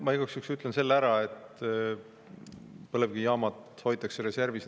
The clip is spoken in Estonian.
Ma igaks juhuks ütlen selle ära, et põlevkivijaamad hoitakse reservis.